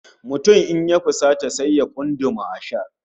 Mutum in ya fusata sai ya kunduma ashar